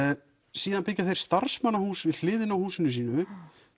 síðan byggja þeir við hliðina á húsinu sínu